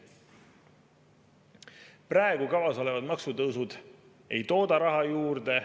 Praegu kavas olevad maksutõusud ei tooda raha juurde.